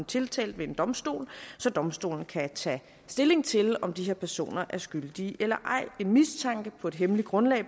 tiltalt ved en domstol så domstolen kan tage stilling til om den her person er skyldig eller ej en mistanke på et hemmeligt grundlag